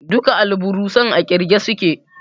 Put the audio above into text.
Duka alburusan a ƙirge suke